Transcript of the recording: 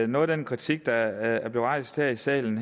noget af den kritik der blev rejst her i salen